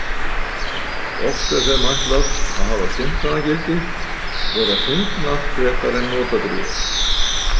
Oft er þeim ætlað að hafa skemmtanagildi, vera fyndnar frekar en notadrjúgar.